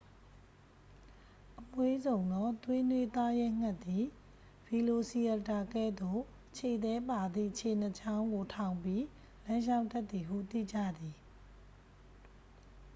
အမွှေးစုံသော သွေးနွေးသားရဲငှက်သည် ဗီလိုစီရပ်တာ ကဲ့သို့ ခြေသည်းပါသည့် ခြေနှစ်ချောင်းကို ထောင်ပြီး လမ်းလျှောက်တတ်သည်ဟု သိကြသည်